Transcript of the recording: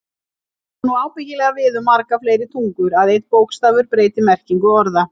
Það á nú ábyggilega við um margar fleiri tungur, að einn bókstafur breyti merkingu orða.